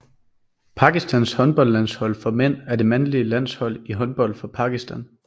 Pakistans håndboldlandshold for mænd er det mandlige landshold i håndbold for Pakistan